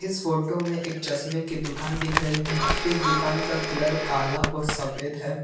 Photo में एक चश्मे की दुकान दिख रही है इस दुकान का कलर काला और सफेद है।